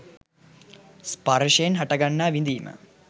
ස්පර්ශයෙන් හටගන්නා විඳීම